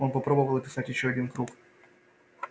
он попробовал описать ещё один круг